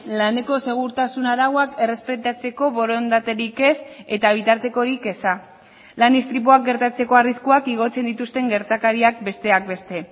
laneko segurtasun arauak errespetatzeko borondaterik ez eta bitartekorik eza lan istripuak gertatzeko arriskuak igotzen dituzten gertakariak besteak beste